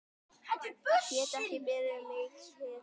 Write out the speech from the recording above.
Get ekki beðið um mikið meira!